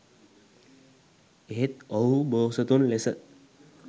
එහෙත් ඔවුහු බෝසතුන් ලෙස